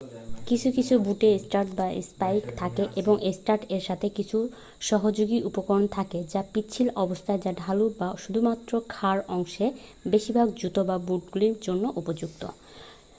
কিছু কিছু বুটে স্টাড বা স্পাইক থাকে এবং স্টাড এর সাথে কিছু সহপযোগী উপকরণ থাকে যা পিচ্ছিল অবস্থায় যা ঢালু বা শুধুমাত্র খাড়া অংশে বেশিরভাগ জুতো বা বুটগুলির জন্য উপযুক্ত